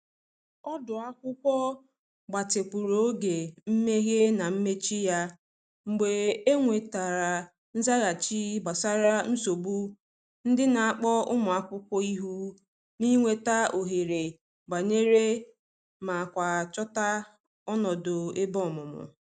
Ọdu akwụkwọ gbatịkwuru oge mmehe na mmechi ya mgbe e nwetara nzaghachi gbasara nsogbu ndị n'akpọ ụmụ akwụkwọ ihu n’ịnweta ohere banye ma kwa chota ọnọdụ ebe ọmụmụ.